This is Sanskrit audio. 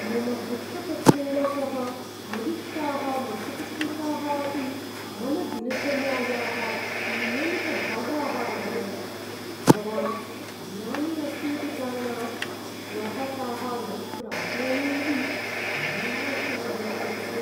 मम वृत्तपत्रेण सह मदिष्टाः मासपत्रिकाः अपि मम दिनचर्यायाः नियमितभागाः अभवन्। भवान् विरामे अस्ति इति कारणात् श्वः ताः न प्राप्नोमि इति निराशाजनकम् अस्ति।